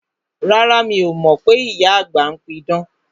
Rárá, mi o mọ pé ìyá àgbà ń pí idán